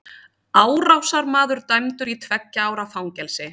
Árásarmaður dæmdur í tveggja ára fangelsi